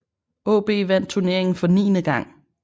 AaB vandt turneringen for niende gang